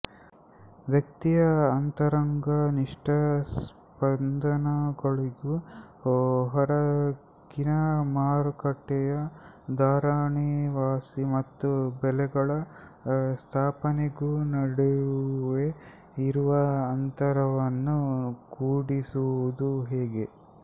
ವ್ಯಕ್ತಿಯ ಅಂತರಂಗನಿಷ್ಠ ಸ್ಪಂದನಗಳಿಗೂ ಹೊರಗಿನ ಮಾರುಕಟ್ಟೆಯ ಧಾರಣೆವಾಸಿ ಮತ್ತು ಬೆಲೆಗಳ ಸ್ಥಾಪನೆಗೂ ನಡುವೆ ಇರುವ ಅಂತರವನ್ನು ಕೂಡಿಸುವುದು ಹೇಗೆ